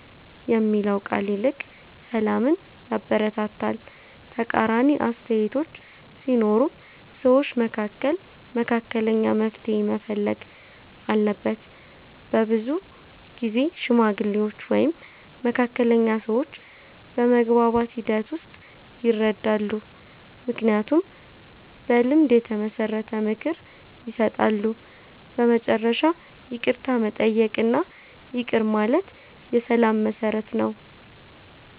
የሚለው ቃል ይልቅ ሰላምን ያበረታታል። ተቃራኒ አስተያየቶች ሲኖሩም ሰዎች መካከል መካከለኛ መፍትሔ መፈለግ አለበት። በብዙ ጊዜ ሽማግሌዎች ወይም መካከለኛ ሰዎች በመግባባት ሂደት ውስጥ ይረዳሉ፣ ምክንያቱም በልምድ የተመሰረተ ምክር ይሰጣሉ። በመጨረሻ ይቅርታ መጠየቅ እና ይቅር ማለት የሰላም መሠረት ነው።